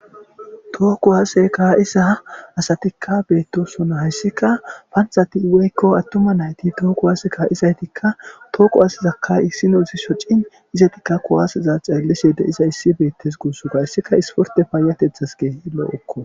tooku hase ka7isa asatikka beettosona hayssika panthati iweykko attuma nayti tooku waaseka izaytikka tooku asizakkay issino zi shocin izaytikka kuwaasiza ceellise de iza issi beettes guussoga hayssika isporte paayatethas gees loo7okko